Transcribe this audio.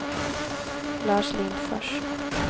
Lars Lindfors